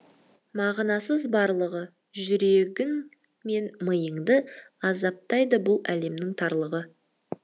мағынасыз барлығы жүрегің мен миыңды азаптайды бұл әлемнің тарлығы